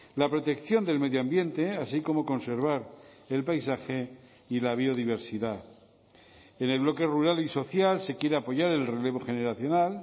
la protección del medio ambiente así como conservar el paisaje y la biodiversidad en el bloque rural y social se quiere apoyar el relevo generacional